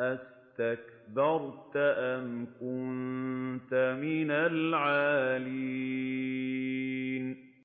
أَسْتَكْبَرْتَ أَمْ كُنتَ مِنَ الْعَالِينَ